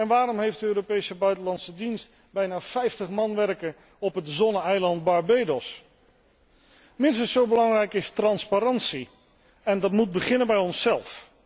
Waarom heeft de Europese buitenlandse dienst bijna 50 man personeel op het zonne eiland Barbados? Minstens zo belangrijk is transparantie. En dat moet beginnen bij onszelf.